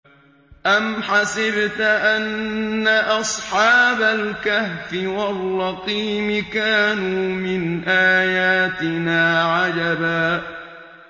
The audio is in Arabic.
أَمْ حَسِبْتَ أَنَّ أَصْحَابَ الْكَهْفِ وَالرَّقِيمِ كَانُوا مِنْ آيَاتِنَا عَجَبًا